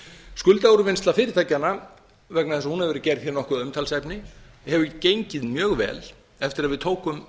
skuldaúrvinnsla fyrirtækjanna vegna þess að hún hefur verið gerð nokkuð að umtalsefni hefur gengið mjög vel eftir að við tókum